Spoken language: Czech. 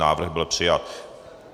Návrh byl přijat.